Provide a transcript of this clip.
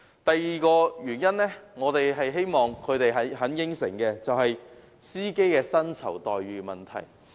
第二，我們希望小巴承辦商答應改善司機的薪酬待遇。